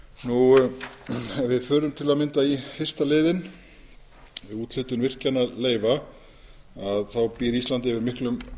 ef við förum til að mynda í fyrsta liðinn um úthlutun virkjanaleyfa þá býr ísland yfir miklum